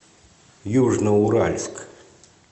южноуральск